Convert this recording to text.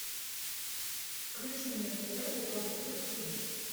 включи мне на тв европа плюс тиви